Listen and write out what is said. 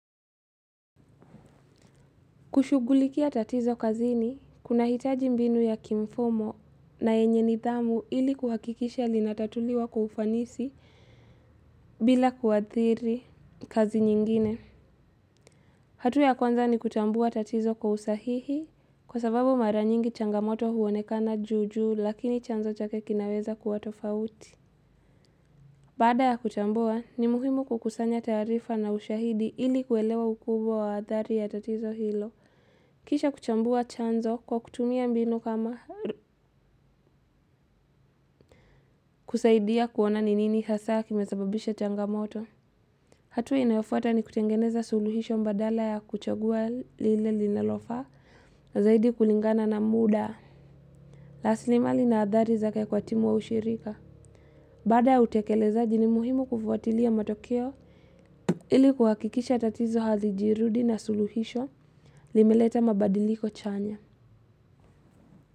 Kushugulikia tatizo kazini, kuna hitaji mbinu ya kimfumo na yenye nidhamu ili kuhakikisha linatatuliwa kwa ufanisi bila kuadhiri kazi nyingine. Hatua ya kwanza ni kutambua tatizo kwa usahihi kwa sababu mara nyingi changamoto huonekana juju lakini chanzo chake kinaweza kuwatofauti. Bada ya kutambua, ni muhimu kukusanya tarifa na ushahidi ili kuelewa ukubwa wa adhari ya tatizo hilo. Kisha kuchambua chanzo kwa kutumia mbinu kama kusaidia kuona ni nini hasa kimesababisha changamoto. Hatua inayofuata ni kutengeneza suluhisho mbadala ya kuchagua lile linalofa zaidi kulingana na muda. Lasilimali na adhari zake kwa timu wa ushirika. Baada ya utekelezaji ni muhimu kufuatilia matokeo ili kuhakikisha tatizo hazijirudi na suluhisho limeleta mabadiliko chanya.